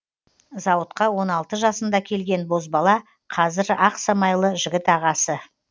зауытқа он алты жасында келген бозбала қазір ақ самайлы жігіт ағасы